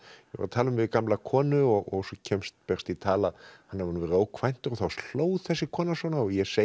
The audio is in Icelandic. að tala um við gamla konu og svo berst í tal að hann hafi verið ókvæntur og þá hló þessi kona ég segi